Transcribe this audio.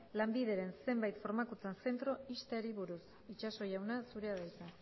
lanbideren zenbait formakuntza zentro ixteari buruz itxaso jauna zurea da hitza